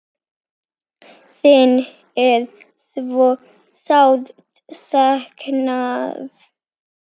Þín er svo sárt saknað.